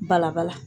Balabala